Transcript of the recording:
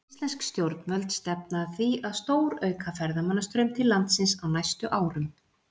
Íslensk stjórnvöld stefna að því að stórauka ferðamannastraum til landsins á næstu árum.